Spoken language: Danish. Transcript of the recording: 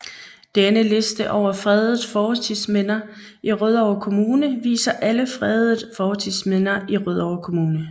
Denne liste over fredede fortidsminder i Rødovre Kommune viser alle fredede fortidsminder i Rødovre Kommune